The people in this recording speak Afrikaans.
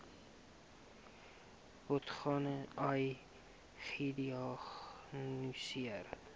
patogene ai gediagnoseer